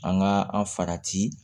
An ka an farati